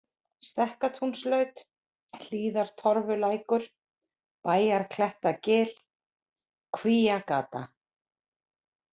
Stekkatúnslaut, Hlíðartorfulækur, Bæjarklettagil, Kvíagata